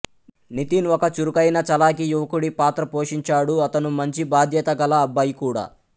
నితిన్ ఒక చురుకైన చలాకీ యువకుడి పాత్ర పోషించాడు అతను మంచి బాధ్యతగల అబ్బాయి కూడా